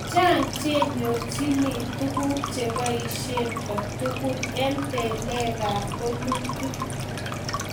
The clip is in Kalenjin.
chang chenyorchini tuguk cheboisien kotugul eng balekab bolutik